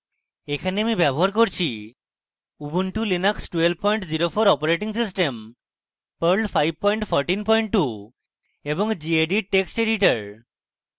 এই tutorial জন্য ব্যবহার করছি